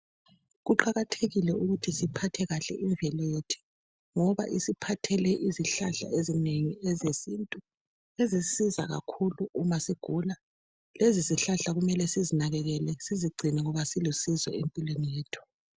Kuqakathekile ukuthi siphathe kahle imvelo yethu, ngoba isiphathele izihlahla ezinengi ezesintu. Ezisisiza kakhulu uma sigula. Lezizihlahla kumele sizinakekele, sizigcine, ngoba zilusizo empilweni yethu.